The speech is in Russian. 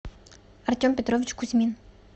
артем петрович кузьмин